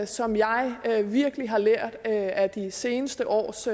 som jeg virkelig har lært af de seneste års